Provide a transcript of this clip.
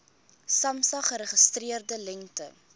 samsa geregistreerde lengte